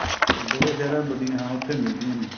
ਬੜੇ ਸਹਿਰਾ ਵਡੀਆਂ ਹਾਂ ਉੱਥੇ ਮਿਲਦੀਆਂ ਨੇ